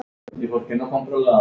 Þeir gengu í þögn.